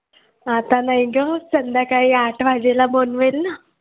आता नाही गं संध्याकाळी आठ वाजेला बनवेल ना